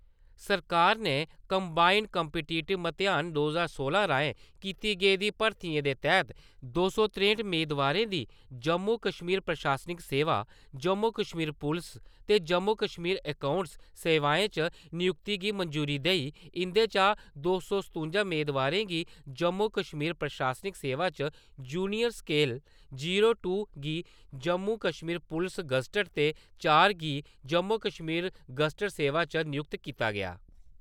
सरकार ने combined competitive म्तेहान दो ज्हार सोलां राहें कीती गेदी भर्थी दे तैह्त दो सौ तरेंट मेदवारें दी जम्मू-कश्मीर प्रशासनिक सेवा, जम्मू-कश्मीर पुलस ते जम्मू-कश्मीर अकाऊंट्स सेवाएं च नियुक्ती गी मंजूरी देई इन्दे चा दो सौ सतुंजा मेदवारें गी जम्मू-कश्मीर प्रशासनिक सेवा च जूनियर सकेल, जीरो टू गी जम्मू-कश्मीर पुलस गज्जटड ते चार गी जम्मू-कश्मीर गज्जटड सेवा च नयुक्त कीता गेआ।